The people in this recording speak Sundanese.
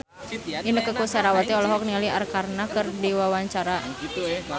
Inneke Koesherawati olohok ningali Arkarna keur diwawancara